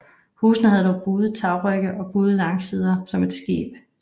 Husene havde buede tagrygge og buede langsider som et skib